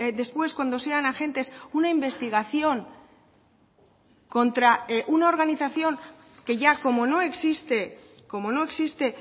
después cuando sean agentes una investigación contra una organización que ya como no existe como no existe